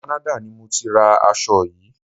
Canada ni mọ tí ra aṣo yìí.